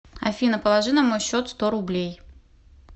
афина положи на мой счет сто рублей